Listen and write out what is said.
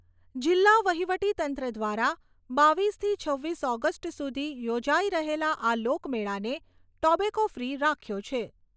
જિલ્લા વહિવટીતંત્ર દ્વારા બાવીસથી છવ્વીસ ઓગસ્ટ સુધી યોજાઈ રહેલા આ લોકમેળાને ટોબેકો ફ્રી રાખ્યો છે.